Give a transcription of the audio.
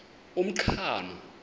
umqhano